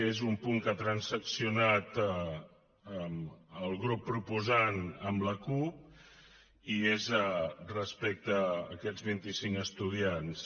és un punt que ha transaccionat el grup proposant amb la cup i és respecte a aquests vint i cinc estudiants